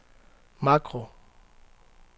makro